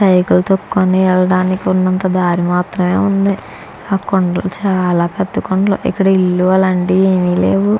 వెల్తానికి ఉన్నంత దారి మాత్రమే ఉన్నది ఆ కొండలు చాల పెద్ద కొండలు ఇక్కడ ఇల్లు అలాంటివి ఏమి లేవు.